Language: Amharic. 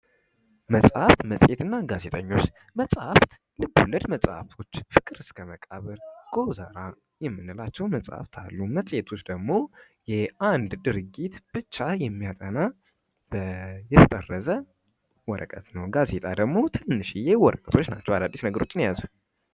መጽሃፍት፥ መጽሄትና ጋዜጣ፦ መጽሃፍት ልብ ወለድ መጻህፍቶች ፤ ፍቅር እስከ መቃብር፥ ጎመዛራ የምንላቸው መጽሐፍቶች አሉ ፤ መጽሔቶች ደግሞ ስለአንድ ድርጊት ብቻ የሚያጠና የተጠረዘ ወረቀት ነው ፤ ጋዜጣ ደግሞ ትንንሽዬ ወረቀቶች ናቸው አዳዲስ ነገሮችን የያዙ።